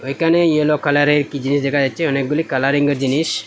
একানে ইয়োলো কালারের একটি জিনিস দেখা যাচ্ছে অনেকগুলি কালারিংয়ের জিনিস।